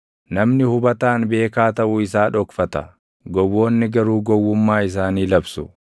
Namni hubataan beekaa taʼuu isaa dhokfata; gowwoonni garuu gowwummaa isaanii labsu.